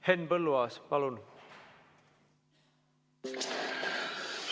Henn Põlluaas, palun!